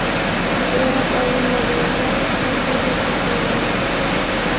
Hudud o‘rab olinmagan, biroq ichkariga hech kim qo‘yilmayapti.